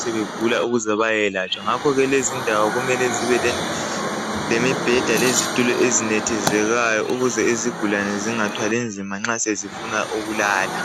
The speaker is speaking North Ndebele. sebegula, ukuze bayelatshwa. Ngakho lezindawo, kumele zibelemibheda, lezitulo ezinethekezelayo. Ukuze izigulane zingathwali nzima nza sezifuna ukulala.